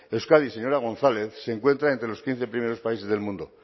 euskadi señora gonzález se encuentran entre los quince primeros países del mundo